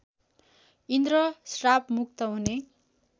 इन्द्र श्रापमुक्त हुने